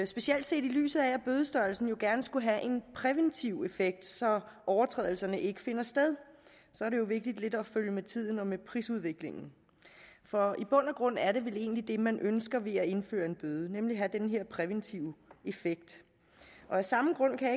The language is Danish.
specielt set i lyset af at bødestørrelsen gerne skulle have en præventiv effekt så overtrædelserne ikke finder sted er det jo vigtigt at følge lidt med tiden og med prisudviklingen for i bund og grund er det vel egentlig det man ønsker ved at indføre en bøde nemlig at det har den her præventive effekt af samme grund kan